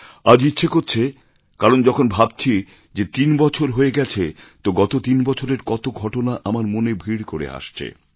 আজ ইচ্ছে করছে কারণ যখন ভাবছি যে তিন বছর হয়ে গেছে তো গত তিন বছরের কত ঘটনা আমার মনে ভিড় করে আসছে